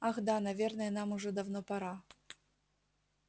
ах да наверное нам уже давно пора